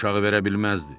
Uşağı verə bilməzdi.